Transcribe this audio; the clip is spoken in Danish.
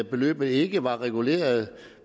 beløbet ikke var reguleret